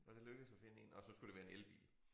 Og det lykkedes at finde én og så skulle det være en elbil